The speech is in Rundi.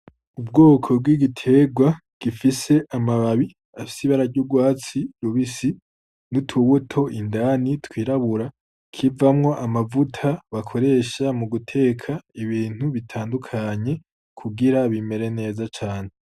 Ubwoko bw'igiterwa gifise amababi afise ibara ry'urwatsi rubisi n'utubuto indani tw'irabura , kivamwo amavuta bakoresha mu guteka ibintu bitandukanye kugira bimere neza cane.